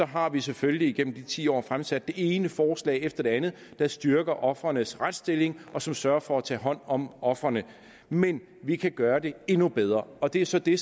har vi selvfølgelig igennem de ti år fremsat det ene forslag efter det andet der styrker ofrenes retsstilling og som sørger for at tage hånd om ofrene men vi kan gøre det endnu bedre og det er så det